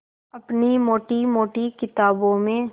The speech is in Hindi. अपनी मोटी मोटी किताबों में